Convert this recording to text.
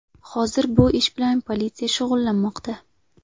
Hozir bu ish bilan politsiya shug‘ullanmoqda.